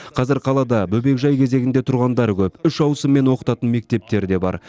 қазір қалада бөбекжай кезегінде тұрғандар көп үш ауысыммен оқытатын мектептер де бар